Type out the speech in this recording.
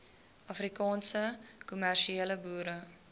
afrikaanse kommersiële boere